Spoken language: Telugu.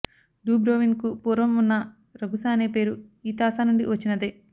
డుబ్రోవ్నిక్కు పూర్వం వున్న రగుస అనే పేరు ఈ తాసానుండి వచ్చినదే